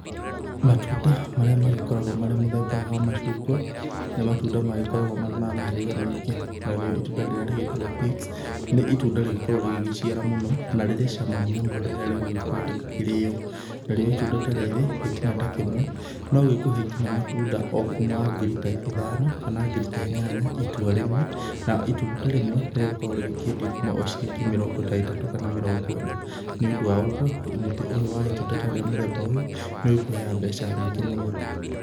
Matunda marĩa magĩkoragwo marĩ mũthemba wa macungwa, nĩ matunda magĩkoragwo marĩ ma mĩhĩrĩga mĩingĩ, narĩo itunda rĩrĩa rĩgĩtagwo pix nĩ itunda rĩgĩkoragwo rĩgĩgĩciara mũno, na rĩrĩ cama mũno rĩrĩa rĩgũgĩkorwo rĩgĩkĩrĩo, narĩo itunda ta rĩrĩ gĩtina ta kĩmwe nogĩkũhe nginya matunda o kuma ngiri ta ithano kana ngiri ta inyanya itua rĩmwe, na itunda rĩmwe nĩrĩkoragwo rĩkĩendio o kuma ciringi mĩrongo ta ĩtatũ kana mĩrongo ĩna, nĩũndũ wa ũguo mũtĩ ũyũ wa itunda ta rĩa mũthemba ũyũ nĩũrĩkũheaga mbeca nyingĩ mũno.